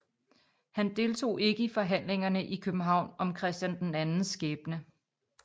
Han deltog ikke i forhandlingerne i København om Christian IIs skæbne